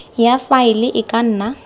ya faele e ka nna